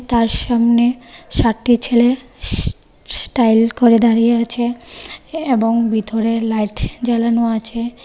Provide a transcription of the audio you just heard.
তার সামনে সাতটি ছেলে স্ স্ স্টাইল করে দাঁড়িয়ে আছে এবং ভেতরে লাইট জ্বালানো আছে.